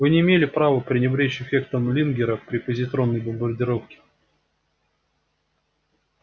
вы не имели права пренебречь эффектом лингера при позитронной бомбардировке